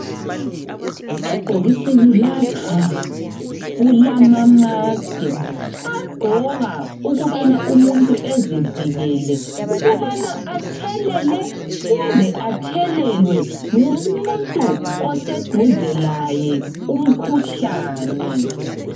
Ebhokisini lapha kulama mask agqoka ukubana umuntu ezivikele ukubana athelele kumbe athelelwe ngumuntu oseduze laye umkhuhlane.